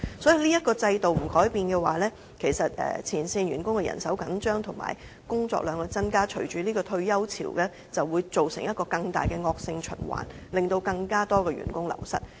所以，這個制度若不改變，前線員工人手緊張，工作量增加，引發退休潮，便會造成一個更大的惡性循環，令更多員工流失。